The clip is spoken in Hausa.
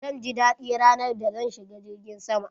Zan ji dadi ranar da zan shiga girgin sama.